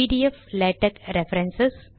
PDF LaTeX references